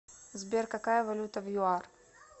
сбер какая валюта в юар